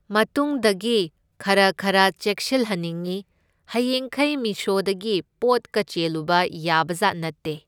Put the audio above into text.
ꯃꯇꯨꯡꯗꯒꯤ ꯈꯔ ꯈꯔ ꯆꯦꯛꯁꯤꯜꯍꯟꯅꯤꯡꯉꯤ, ꯍꯌꯦꯡꯈꯩ ꯃꯤꯁꯣꯗꯒꯤ ꯄꯣꯠꯀ ꯆꯦꯜꯂꯨꯕ ꯌꯥꯕꯖꯥꯠ ꯅꯠꯇꯦ꯫